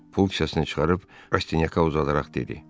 Pul kisəsini çıxarıb Rastinyaka uzadaraq dedi: